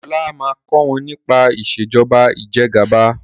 ọlá má kò wón nípa Ìṣèjọba Ìjẹgàba